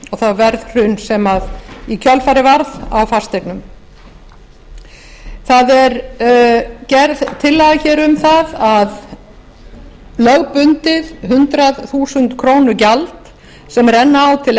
það verðhrun sem í kjölfarið varð á fasteignum það er gerð tillaga hér um það að lögbundið hundrað þúsund króna gjald sem renna á til